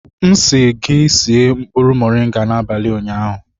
M sị gị sie nkpụrụ moringa n'abalị ụnyaahụ!